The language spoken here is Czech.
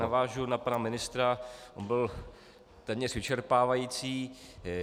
Navážu na pana mistra, on byl téměř vyčerpávající.